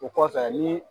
O kɔfɛ ni